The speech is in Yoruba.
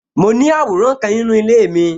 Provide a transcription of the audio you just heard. Mo ní àwòrán kan nínú ilé mi